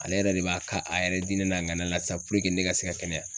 Ale yɛrɛ de b'a ka a yɛrɛ dinɛ n'a ŋanaya la sisan ne ka se ka kɛnɛya.